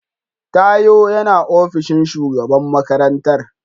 Tayo yana ofishin shugaban makarantar.